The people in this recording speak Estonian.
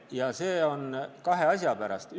Ja see on nii kahe asja pärast.